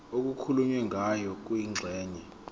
okukhulunywe ngayo kwingxenye